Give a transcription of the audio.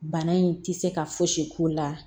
Bana in tɛ se ka fosi k'o la